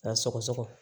A sɔgɔsɔgɔ